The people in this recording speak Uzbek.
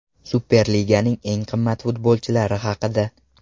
Superliganing eng qimmat futbolchilari haqida.